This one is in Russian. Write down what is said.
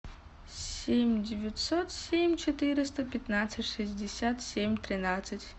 семь девятьсот семь четыреста пятнадцать шестьдесят семь тринадцать